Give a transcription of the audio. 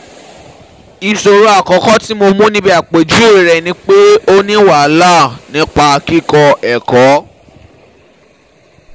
Iṣoro akọkọ ti Mo mu nibi apejuwe um rẹ ni pe o ni wahala um nipa kikọ ẹkọ